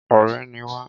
Ọrẹ ni wá